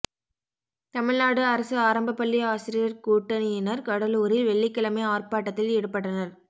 தமிழ்நாடு அரசு ஆரம்பப் பள்ளி ஆசிரியா் கூட்டணியினா் கடலூரில் வெள்ளிக்கிழமை ஆா்ப்பாட்டத்தில் ஈடுபட்டனா்